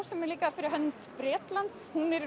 sem er líka fyrir hönd Bretlands hún er